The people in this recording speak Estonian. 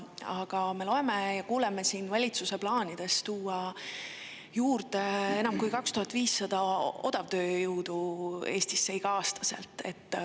Aga me loeme ja kuuleme siin valitsuse plaanidest tuua Eestisse odavtööjõuna enam kui 2500 juurde iga‑aastaselt.